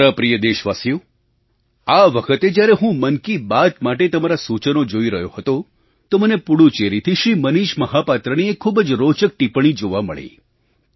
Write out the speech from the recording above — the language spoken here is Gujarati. મારા પ્રિય દેશવાસીઓ આ વખતે જ્યારે હું મન કી બાત માટે તમારાં સૂચનો જોઈ રહ્યો હતો તો મને પુડુચેરીથી શ્રી મનીષ મહાપાત્રની એક ખૂબ જ રોચક ટીપ્પણી જોવા મળી